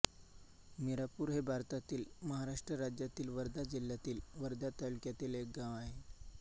मिरापूर हे भारतातील महाराष्ट्र राज्यातील वर्धा जिल्ह्यातील वर्धा तालुक्यातील एक गाव आहे